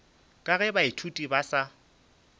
ka ge baithuti ba sa